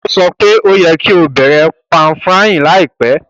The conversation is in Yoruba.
Ó sọ pe o yẹ́ ki o bẹ̀rẹ̀ pan-frying láìpẹ́